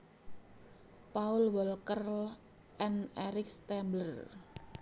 Paul Walker and Eric Stambler